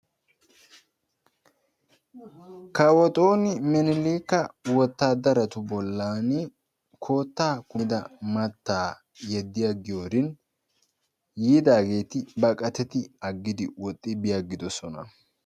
Kawo Xooni minilikka wotadaratu bollaani koottaa kummida mattaa yedi agiyorin yiidaageetti baqattidi aggidi woxxi bi aggidosona.